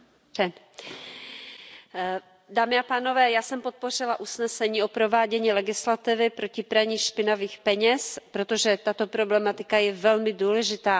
Pane předsedající, já jsem podpořila usnesení o provádění legislativy proti praní špinavých peněz, protože tato problematika je velmi důležitá.